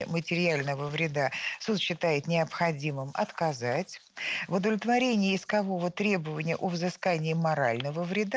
материального вреда суд считает необходимым отказать в удовлетворении искового требования о взыскании морального вреда